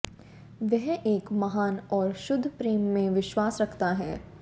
वह एक महान और शुद्ध प्रेम में विश्वास रखता है